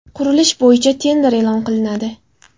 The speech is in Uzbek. Qurilish bo‘yicha tender e’lon qilinadi.